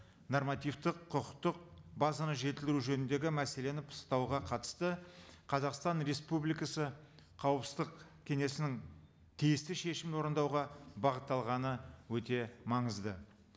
нормативтік құқықтық базаны жетілдіру жөніндегі мәселені пысықтауға қатысты қазақстан республикасы қауіпсіздік кеңесінің тиісті шешімін орындауға бағытталғаны өте маңызды